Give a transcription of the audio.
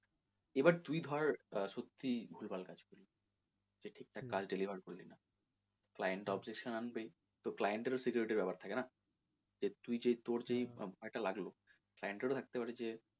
এবার তুই ধর সত্যি আহ ভুলভাল কাজ করলি যে ঠিক ঠাক কাজটা করলি না তো client objection আনবেই তো client এর ও security র ব্যাপার থাকে না যে তুই যেই তোর যেই টাকা টা লাগলো client এরও লাগতে পারে যে,